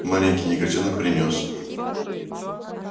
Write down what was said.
маленький негритёнок принёс